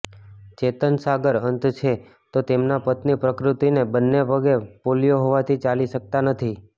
ચેતન સાગર અંધ છે તો તેમનાં પત્ની પ્રકૃતિને બંને પગે પોલિયો હોવાથી ચાલી શકતાં નથી